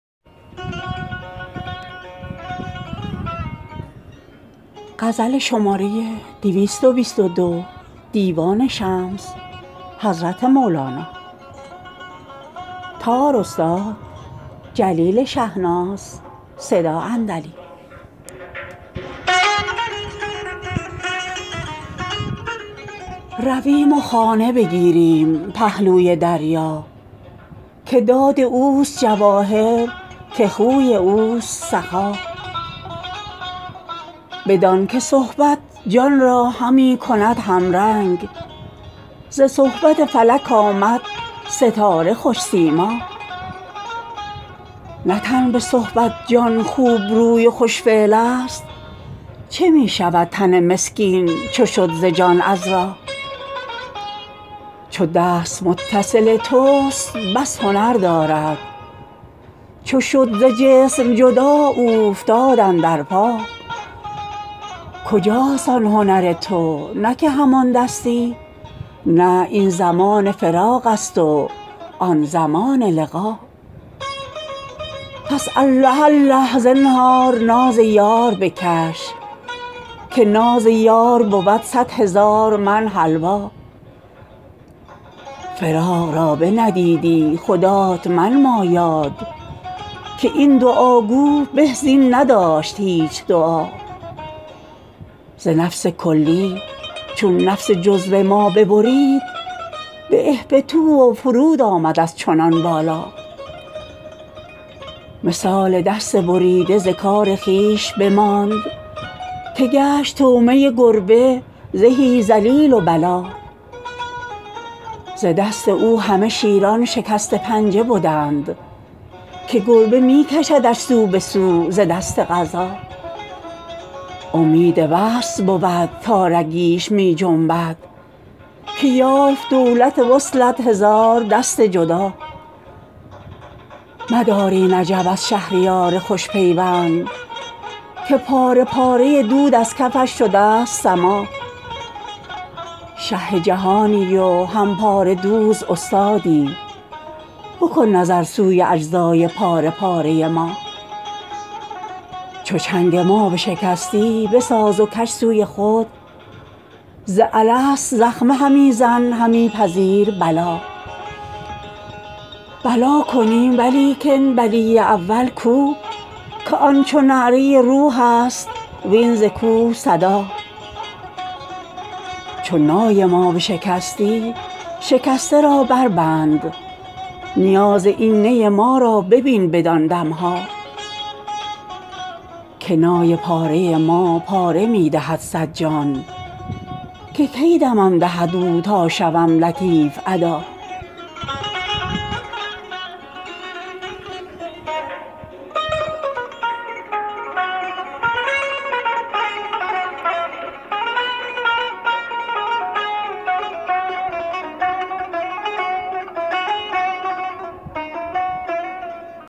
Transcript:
رویم و خانه بگیریم پهلوی دریا که داد اوست جواهر که خوی اوست سخا بدان که صحبت جان را همی کند همرنگ ز صحبت فلک آمد ستاره خوش سیما نه تن به صحبت جان خوبروی و خوش فعل ست چه می شود تن مسکین چو شد ز جان عذرا چو دست متصل توست بس هنر دارد چو شد ز جسم جدا اوفتاد اندر پا کجاست آن هنر تو نه که همان دستی نه این زمان فراق ست و آن زمان لقا پس الله الله زنهار ناز یار بکش که ناز یار بود صد هزار من حلوا فراق را بندیدی خدات منما یاد که این دعاگو به زین نداشت هیچ دعا ز نفس کلی چون نفس جزو ما ببرید به اهبطوا و فرود آمد از چنان بالا مثال دست بریده ز کار خویش بماند که گشت طعمه گربه زهی ذلیل و بلا ز دست او همه شیران شکسته پنجه بدند که گربه می کشدش سو به سو ز دست قضا امید وصل بود تا رگیش می جنبد که یافت دولت وصلت هزار دست جدا مدار این عجب از شهریار خوش پیوند که پاره پاره دود از کفش شده ست سما شه جهانی و هم پاره دوز استادی بکن نظر سوی اجزای پاره پاره ما چو چنگ ما بشکستی بساز و کش سوی خود ز الست زخمه همی زن همی پذیر بلا بلا کنیم ولیکن بلی اول کو که آن چو نعره روحست وین ز کوه صدا چو نای ما بشکستی شکسته را بربند نیاز این نی ما را ببین بدان دم ها که نای پاره ما پاره می دهد صد جان که کی دمم دهد او تا شوم لطیف ادا